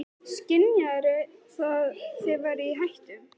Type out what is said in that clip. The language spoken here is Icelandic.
Kristján: Skynjaðirðu það að þið væruð í hættu?